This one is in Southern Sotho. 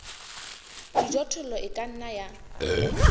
dijothollo e ka nna ya